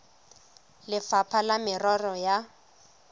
le lefapha la merero ya